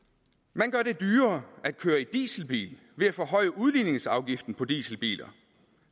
man gør det dyrere at køre i dieselbil ved at forhøje udligningsafgiften på dieselbiler